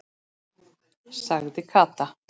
sagði Kata.